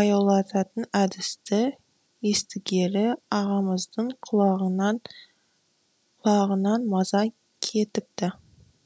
баяулататын әдісті естігелі ағамыздың құлағынан маза кетіпті